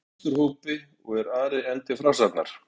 Vesturhópi, og er Ari enn til frásagnar